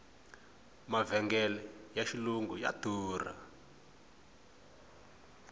mavhengele ya xilungu ya durha